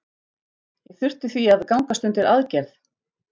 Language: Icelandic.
Ég þurfti því að gangast undir aðgerð.